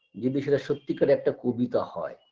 যদি সেটা সত্যি কারের একটা কবিতা হয়